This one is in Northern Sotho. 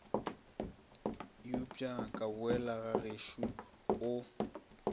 upša ka boela gagešo o